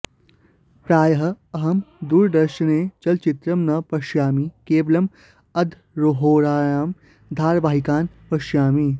प्रायः अहं दूरदर्शने चलचित्रं न पश्यामि केवलम् अर्धहोरायां धारवाहिकान् पश्यामि